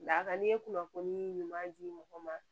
Lakan ne ye kunnafoni ɲuman di mɔgɔw ma